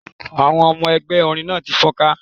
Àwọn ọmọ ẹgbẹ́ orin náà ti fọ́nká.